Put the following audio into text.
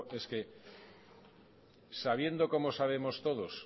es que sabiendo como sabemos todos